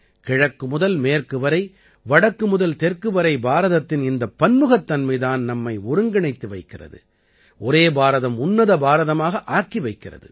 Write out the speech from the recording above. கிழக்கு முதல் மேற்கு வரை வடக்கு முதல் தெற்கு வரை பாரதத்தின் இந்தப் பன்முகத்தன்மை தான் நம்மை ஒருங்கிணைத்து வைக்கிறது ஒரே பாரதம் உன்னத பாரதமாக ஆக்கி வைக்கிறது